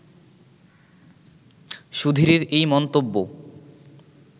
সুধীরের এই মন্তব্য